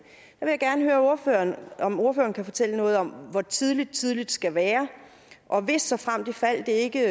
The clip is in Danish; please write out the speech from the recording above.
jeg gerne høre ordføreren om ordføreren kan fortælle noget om hvor tidligt tidligt skal være og hvis såfremt ifald det ikke